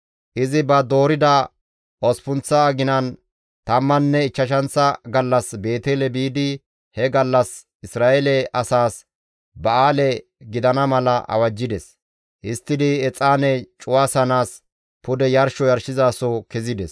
Izi ba doorida osppunththa aginan tammanne ichchashanththa gallas Beetele biidi he gallas Isra7eele asaas ba7aale gidana mala awajjides; histtidi exaane cuwasanaas pude yarsho yarshizaso kezides.